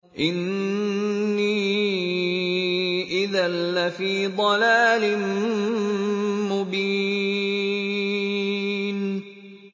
إِنِّي إِذًا لَّفِي ضَلَالٍ مُّبِينٍ